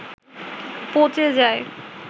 পচে যায়